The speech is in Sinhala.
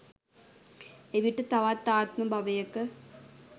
එවිට තවත් ආත්ම භවයක